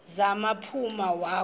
za kuphuma wakhu